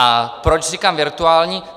A proč říkám virtuální?